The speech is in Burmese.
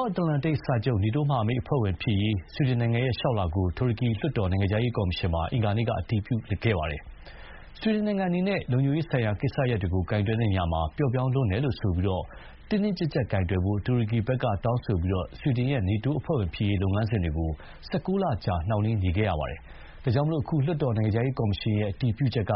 ာက်အန္တလန်တိတ်စာချုပ် နေတိုးမဟာမိတ်အဖွဲ့ဝင်ဖြစ်ရေး ဆွီဒင်နိုင်ငံရဲ့လျှောက်လွှာကို တူရကီလွှတ်တော် နိုင်ငံခြားရေးရာကော်မရှင်မှာ အင်္ဂါနေ့က အတည်ပြုလိုက်ပါတယ်။ ဆွီဒင်နိုင်ငံအနေနဲ့ လုံခြုံရေးဆိုင်ရာကိစ္စရပ်တွေကိုကိုင်တွယ်ရာမှာ ပျော့ပြောင်းလွန်းတယ်လို့ဆိုပြီး တင်းတင်းကျပ်ကျပ်ကိုင်တွယ်ဖို့ တူရကီဘက်ကတောင်းဆိုထားပြီး ဆွီဒင်ရဲ့ နေတိုးအဖွဲ့ဝင်ဖြစ်ရေးလုပ်ငန်းစဥ်တွေ ၁၉ လကြာ နှောင့်နှေးနေခဲ့တာပါ။ ဒါကြောင့် အခု လွှတ်တော် နိုင်ငံခြာရေးကော်မရှင်ရဲ့အတည်ပြုချက်က